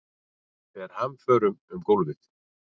Fer hamförum um gólfið.